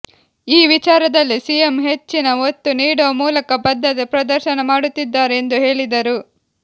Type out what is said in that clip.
ಈ ವಿಚಾರದಲ್ಲಿ ಸಿಎಂ ಹೆಚ್ಚಿನ ಒತ್ತು ನೀಡುವ ಮೂಲಕ ಬದ್ಧತೆ ಪ್ರದರ್ಶನ ಮಾಡುತ್ತಿದ್ದಾರೆ ಎಂದು ಹೇಳಿದರು